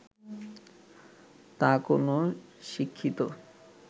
তা কোন শিক্ষিত